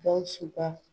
Gawusu ka